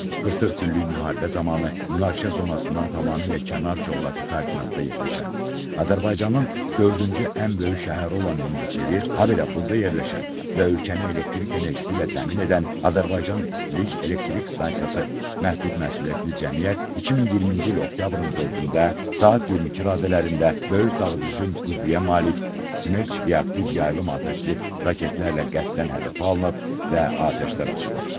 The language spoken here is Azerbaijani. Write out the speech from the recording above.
44 günlük müharibə zamanı münaqişə zonasından tamamilə kənar coğrafi koordinatda yerləşən Azərbaycanın dördüncü ən böyük şəhəri olan Mingəçevir, habelə burda yerləşən və ölkəni elektrik enerjisi ilə təmin edən Azərbaycan İstilik Elektrik Stansiyası Məhdud Məsuliyyətli Cəmiyyət 2020-ci il oktyabrın 4-də saat 22 radələrində böyük dağıdıcı qüvvəyə malik Smerç reaktiv yaylım atəşli raketlərlə qəsdən hədəfə alınıb və atəşlər açılıb.